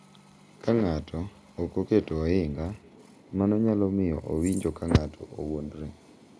Ka ng’ato ok oketo ohinga, mano nyalo miyo owinjo ka ng’ato owuondore .